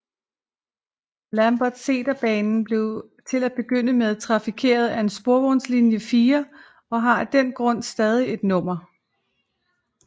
Lambertseterbanen blev til at begynde med trafikeret af sporvognslinje 4 og har af den grund stadig det nummer